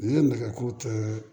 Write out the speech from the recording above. N'i ye nɛgɛ ko kɛ